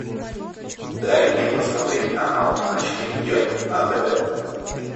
дай мне посмотреть канал матч премьер на тв